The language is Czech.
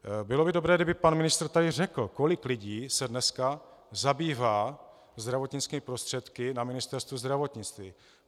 Bylo by dobré, kdyby pan ministr tady řekl, kolik lidí se dneska zabývá zdravotnickými prostředky na Ministerstvu zdravotnictví.